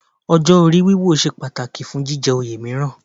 Ọjọ́ orí wíwò ṣe pàtàkì fún fún jíjẹ oyè mìíràn